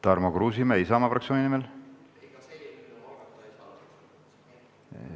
Tarmo Kruusimäe Isamaa fraktsiooni nimel.